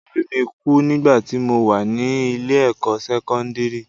Orí mi kú nígbà tí mo wà ní ilé-ẹ̀kọ́ sẹ́kọ́ndírì